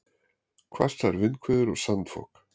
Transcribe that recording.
Hvassar vindhviður og sandfok